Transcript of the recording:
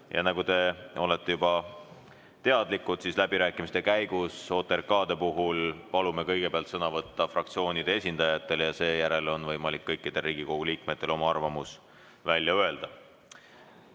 Ja nagu te juba teadlikud olete, palume läbirääkimiste käigus OTRK-de puhul kõigepealt sõna võtta fraktsioonide esindajatel ja seejärel on võimalik kõikidel Riigikogu liikmetel oma arvamus välja öelda.